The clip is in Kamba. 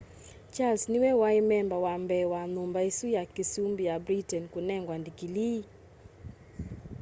charles niwe wai memba wa mbee wa nyumba isu ya kiusumbi ya britain kunengwa ndikilii